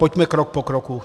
Pojďme krok po kroku.